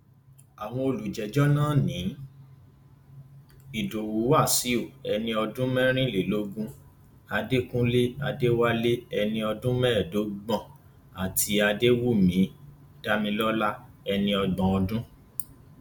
àwọn olùjẹjọ náà ní ìdowu wáṣíù ẹni ọdún mẹrìnlélógún adékunlé adéwálé ẹni ọdún mẹẹẹdọgbọn àti adéwùnmí damilọla ẹni ọgbọn ọdún